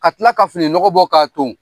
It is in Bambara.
Ka kila ka fininɔgɔ bɔ ka ton.